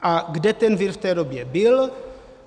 A kde ten vir v té době byl?